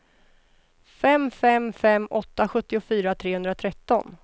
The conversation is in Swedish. fem fem fem åtta sjuttiofyra trehundratretton